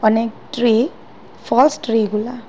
অনেক tree falls tree এগুলা।